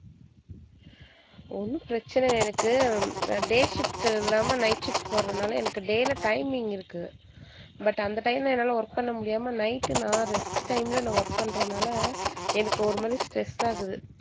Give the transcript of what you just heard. ஒண்ணும் பிரச்சனை இல்ல எனக்கு day shift இல்லாம night shift போடறதுனால எனக்கு day ல timing இருக்கு but அந்த time ல என்னால work பண்ண முடியாம night நான் rest time ல நான் work பண்றதுனால எனக்கு ஒருமாதிரி stress ஆகுது.